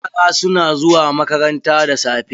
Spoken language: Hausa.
Yara su na zuwa makaranta da safe.